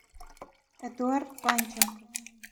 эдуард панченко